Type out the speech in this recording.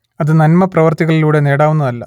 അത് നന്മപ്രവർത്തികളിലൂടെ നേടാവുന്നതല്ല